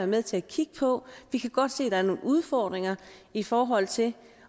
med til at kigge på vi kan godt se at der er nogle udfordringer i forhold til det